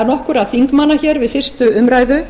nokkurra þingmanna við fyrstu umræðu